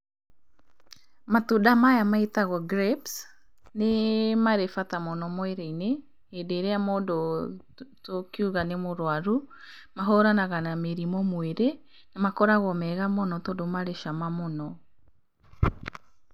Matunda maya magĩtagwo grapes, nĩ marĩ bata mũno mwĩrĩ-inĩ hĩndĩ ĩrĩa mũndũ tũngiuga nĩ mũrwaru. Mahũranaga na mĩrimũ mwĩrĩ, na makoragwo marĩ mega mũno tondũ marĩ cama mũno.